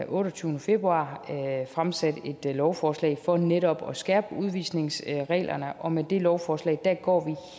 otteogtyvende februar fremsatte et lovforslag for netop at skærpe udvisningsreglerne og med det lovforslag går